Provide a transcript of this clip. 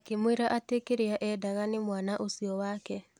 Akĩmwĩra atĩ kĩrĩaendanga nĩ mwana ũcio wake.